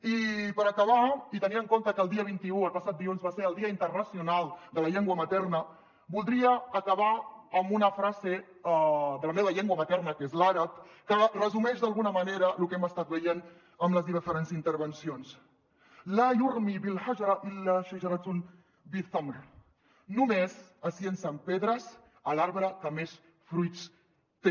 i per acabar i tenint en compte que el dia vint un el passat dilluns va ser el dia internacional de la llengua materna voldria acabar amb una frase de la meva llengua materna que és l’àrab que resumeix d’alguna manera lo que hem estat veient en les diferents intervencions yatimu ramy alhijarat faqat ealaa alshajarat alati biha akbar qadr min althimar només es llancen pedres a l’arbre que més fruits té